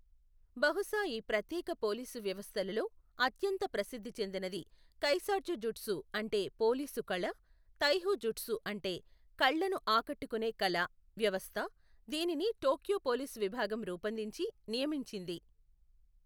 బహుశా ఈ ప్రత్యేక పోలీసు వ్యవస్థలలో అత్యంత ప్రసిద్ధి చెందినది కైసాట్జుజుట్సు అంటే పోలీసు కళ, తైహో జుట్సు అంటే కళ్ళను ఆకట్టుకునే కళ, వ్యవస్థ, దీనిని టోక్యో పోలీసు విభాగం రూపొందించి, నియమించింది.